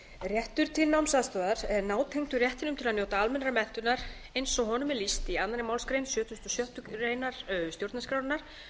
réttur til námsaðstoðar er nátengdur réttinum til að njóta almennrar menntunar eins og honum er lýst í annarri málsgrein sjötugustu og sjöttu grein stjórnarskrárinnar